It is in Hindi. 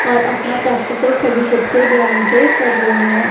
और अपना प्रैक्टिकल सभी बच्चे ध्यान से कर रहे हैं।